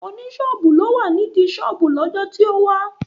Oní ṣọ́ọ̀bù ni ó wà nídìí ṣọ́ọ̀bù lọ́jọ́ tó wá